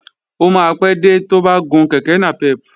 Ó máa pé dé tó bá gun kèké nàpẹ́pù